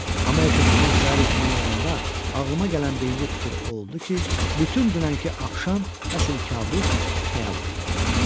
Amma ertəsi gün səhər yuxudan oyananda ağlıma gələn birinci fikir o oldu ki, bütün dünənki axşam əslin kəbus, xəyal idi.